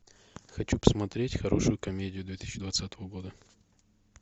хочу посмотреть хорошую комедию две тысячи двадцатого года